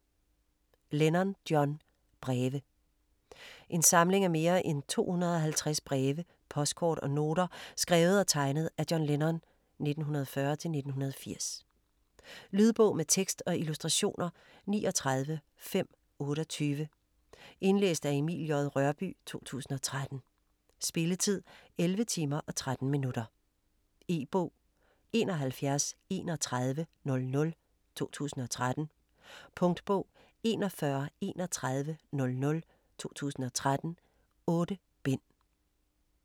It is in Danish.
Lennon, John: Breve En samling af mere end 250 breve, postkort og noter skrevet og tegnet af John Lennon (1940-1980). Lydbog med tekst og illustrationer 39528 Indlæst af Emil J. Rørbye, 2013. Spilletid: 11 timer, 13 minutter. E-bog 713100 2013. Punktbog 413100 2013. 8 bind.